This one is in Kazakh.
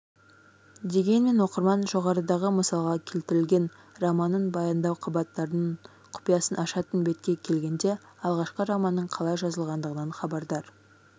дегенмен оқырман жоғарыдағы мысалға келтірілген романның баяндау қабаттарының құпиясын ашатын бетке келгенде алғашқы романның қалай жазылғандығынан хабардар